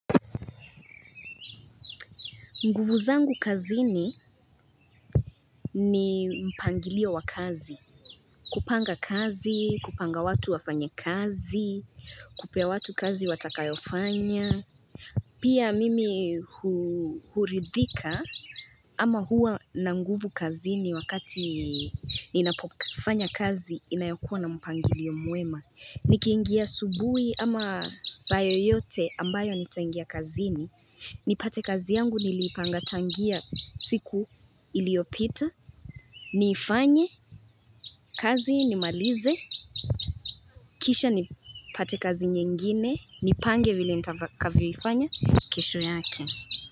Nguvu zangu kazini ni mpangilio wa kazi. Kupanga kazi, kupanga watu wafanye kazi, kupea watu kazi watakayofanya. Pia mimi huridhika ama huwa na nguvu kazini wakati ninapofanya kazi inayokuwa na mpangilio mwema. Nikiingia asubui ama saa yoyote ambayo nitaingia kazini nipate kazi yangu niliipanga tangia siku iliopita Niifanye, kazi nimalize Kisha nipate kazi nyingine, nipange vile nitakavyoifanya kesho yake.